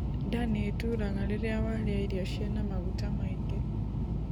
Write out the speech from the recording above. Ndaa nĩĩturaga rĩrĩa warĩa irio ciĩna maguta maingi